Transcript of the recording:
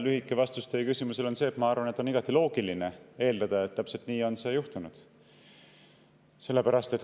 Lühike vastus teie küsimusele on see, et ma arvan, et on igati loogiline eeldada, et täpselt nii on juhtunud.